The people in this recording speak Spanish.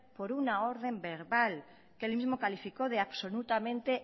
por una orden verbal que él mismo calificó de absolutamente